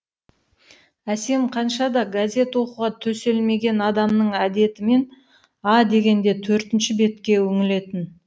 әсем қаншада газет оқуға төселмеген адамның әдетімен а дегенде төртінші бетке үңілетін